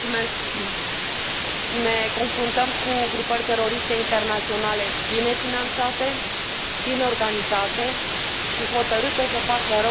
Ne confruntăm cu grupări teroriste internaționale bine finanțate, bine organizate și hotărâte să facă rău până la extrem.